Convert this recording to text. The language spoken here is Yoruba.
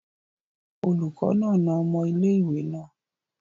Oluko naa na omo ile-iwe naa